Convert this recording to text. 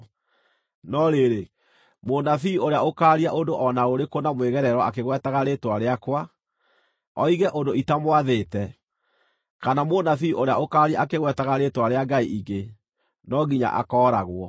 No rĩrĩ, mũnabii ũrĩa ũkaaria ũndũ o na ũrĩkũ na mwĩgerero akĩgwetaga rĩĩtwa rĩakwa, oige ũndũ itamwathĩte, kana mũnabii ũrĩa ũkaaria akĩgwetaga rĩĩtwa rĩa ngai ingĩ, no nginya akooragwo.”